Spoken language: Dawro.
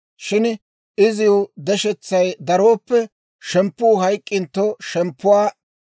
Shin iziw deshetsay darooppe, shemppuu hayk'k'intto shemppuwaa,